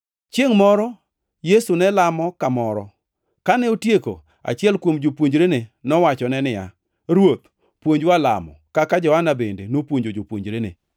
Chiengʼ moro Yesu ne lamo kamoro. Kane otieko, achiel kuom jopuonjrene nowachone niya, “Ruoth, puonjwa lamo, kaka Johana bende nopuonjo jopuonjrene.”